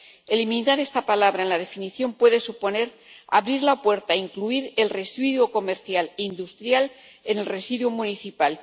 Eliminar esta palabra en la definición puede suponer abrir la puerta, incluir el residuo comercial industrial en el residuo municipal.